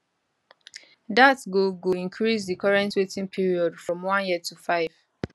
dat go go increase di current waiting period from one year to five